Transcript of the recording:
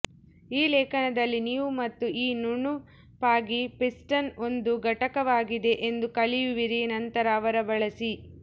ಈ ಲೇಖನದಲ್ಲಿ ನೀವು ಮತ್ತು ಈ ನುಣುಪಾಗಿ ಪಿಸ್ಟನ್ ಒಂದು ಘಟಕವಾಗಿದೆ ಎಂದು ಕಲಿಯುವಿರಿ ನಂತರ ಅವರ ಬಳಸಿ